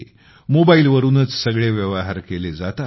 मोबाईलवरूनच सगळे व्यवहार केले जातात